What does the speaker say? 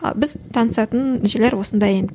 а біз танысатын жерлер осындай енді